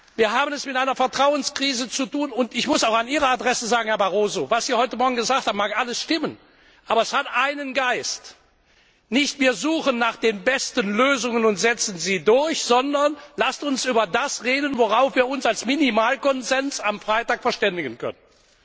Wir haben es mit einer Vertrauenskrise zu tun, und ich muss auch an Ihre Adresse sagen, Herr Barroso, was Sie heute Morgen gesagt haben, mag alles stimmen, aber das atmet den Geist Nicht wir suchen nach den besten Lösungen und setzen sie durch, sondern lasst uns über das reden, worauf wir uns als Minimalkonsens am Freitag verständigen können.